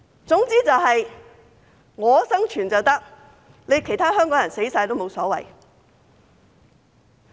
總之他們生存便可以，其他香港人死光也無所謂。